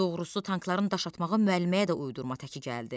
Doğrusu, tankların daş atmağı müəlliməyə də uydurma təki gəldi.